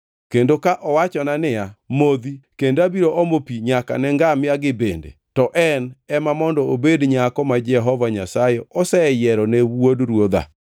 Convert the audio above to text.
kendo ka owachona niya, “Modhi, kendo abiro omo pi nyaka ne ngamia-gi bende,” to en ema mondo obed nyako ma Jehova Nyasaye oseyiero ne wuod ruodha.’